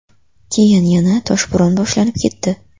Keyin yana toshbo‘ron boshlanib ketdi.